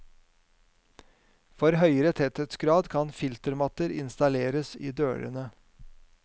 For høyere tetthetsgrad kan filtermatter installeres i dørene.